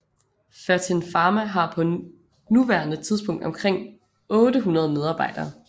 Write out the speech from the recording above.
Fertin Pharma har på nuværende tidspunkt omkring 800 medarbejdere